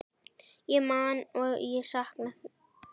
Ég man og ég sakna.